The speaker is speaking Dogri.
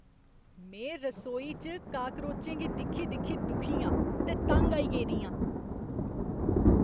में रसौई च काक्रोचें गी दिक्खी दिक्खी दुखी आं ते तंग आई गेदी आं।